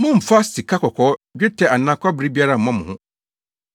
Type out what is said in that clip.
“Mommmfa sikakɔkɔɔ, dwetɛ anaa kɔbere biara mmɔ mo ho.